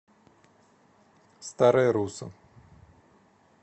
старая русса